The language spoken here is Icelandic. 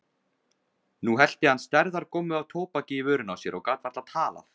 Nú hellti hann stærðar gommu af tóbaki í vörina á sér og gat varla talað.